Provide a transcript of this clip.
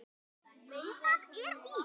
Jú, það er víst.